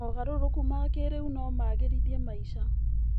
Mogarũrũku ma kĩrĩu no magĩrithie maica.